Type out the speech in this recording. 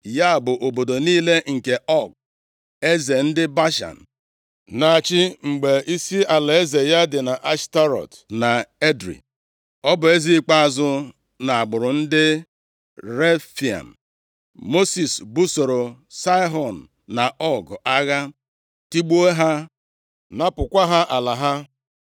Ya bụ, obodo niile nke Ọg eze ndị Bashan na-achị, mgbe isi alaeze ya dị nʼAshtarọt na Edrei. (Ọ bụ eze ikpeazụ nʼagbụrụ ndị Refaim.) Mosis busoro Saịhọn na Ọg agha, tigbuo ha, napụkwa ha ala ha.